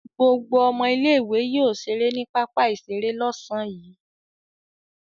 Gbogbo ọmọ ilé-ìwé yóò ṣeré ní pápá-ìṣeré lọ́sàn-án yìí.